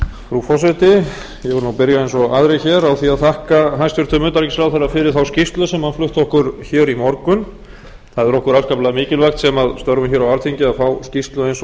nú byrja eins og aðrir hér á því að þakka hæstvirtum utanríkisráðherra fyrir þá skýrslu sem hann flutti okkur hér í morgun það er okkur afskaplega mikilvægt sem störfum hér á alþingi að fá skýrslu eins